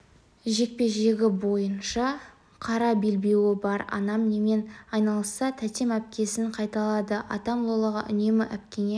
жекпе-жегі бойынша қара белбеуі бар анам немен айналысса тәтем әпкесін қайталады атам лолаға үнемі әпкеңе